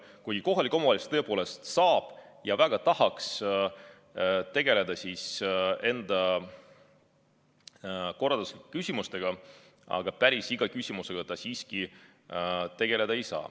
Kuigi kohalik omavalitsus tõepoolest saab ja väga tahaks tegeleda enda korralduslike küsimustega, aga päris iga küsimusega ta siiski tegeleda ei saa.